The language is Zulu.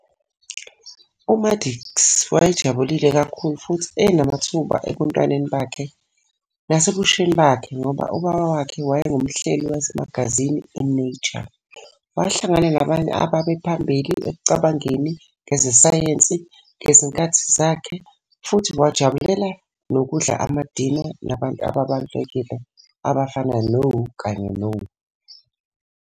UMaddox wayejabulile kakhulu futhi enamathuba ebuntwaneni bakhe nasebusheni bakhe ngoba ubaba wakhe wayengumhleli wemagazini i-"Nature", wahlangana nabanye ababephambili ekucabangeni ngeze sayensi ngazinkathi zakhe futhi wajabulela nokudla amadina nabantu ababalulekile abafana no kanye no .